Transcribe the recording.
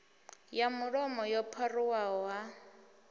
ya mulomo yo pharuwaho ha